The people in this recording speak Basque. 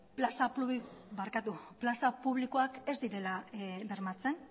plaza publikoak ez direla bermatzen